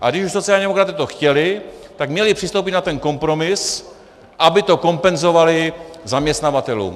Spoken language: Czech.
A když už sociální demokraté to chtěli, tak měli přistoupit na ten kompromis, aby to kompenzovali zaměstnavatelům.